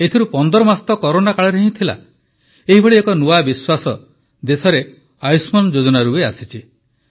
ଏଥିରୁ 15 ମାସ ତ କରୋନା କାଳରେ ହିଁ ଥିଲା ଏହିଭଳି ଏକ ନୂଆ ବିଶ୍ୱାସ ଦେଶରେ ଆୟୁଷ୍ମାନ ଯୋଜନାରୁ ବି ଆସିଛି